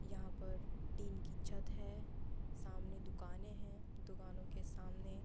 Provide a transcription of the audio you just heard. यहाँ पर टीन की छत है। सामने दुकानें हैं। दुकानों के सामने --